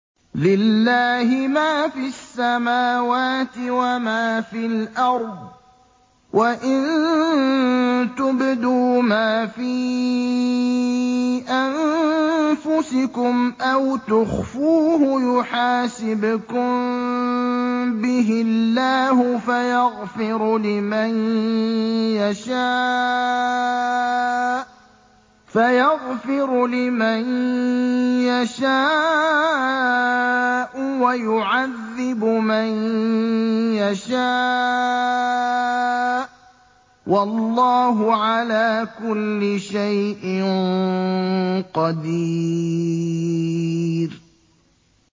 لِّلَّهِ مَا فِي السَّمَاوَاتِ وَمَا فِي الْأَرْضِ ۗ وَإِن تُبْدُوا مَا فِي أَنفُسِكُمْ أَوْ تُخْفُوهُ يُحَاسِبْكُم بِهِ اللَّهُ ۖ فَيَغْفِرُ لِمَن يَشَاءُ وَيُعَذِّبُ مَن يَشَاءُ ۗ وَاللَّهُ عَلَىٰ كُلِّ شَيْءٍ قَدِيرٌ